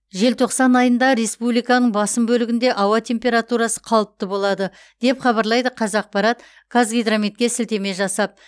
желтоқсан айында республиканың басым бөлігінде ауа температурасы қалыпты болады деп хабарлайды қазақпарат қазгидрометке сілтеме жасап